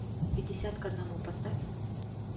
пятьдесят к одному поставь